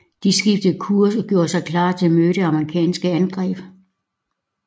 De skiftede kurs og gjorde sig klar til at møde det amerikanske angreb